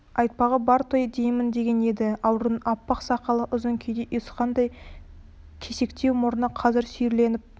айтпағы бар той деймін деген еді аурудың аппақ сақалы ұзын күйде ұйысқандай кесектеу мұрны қазір сүйірленіп